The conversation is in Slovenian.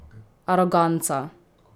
Aroganca?